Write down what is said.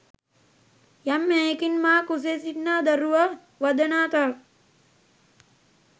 යම් හෙයකින් මා කුසේ සිටිනා දරුවා වදනා තාක්